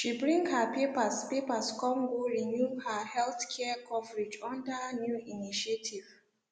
she bring her papers papers come go renew her healthcare coverage under new initiative